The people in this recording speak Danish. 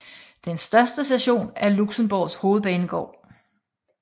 Den største station er Luxembourgs hovedbanegård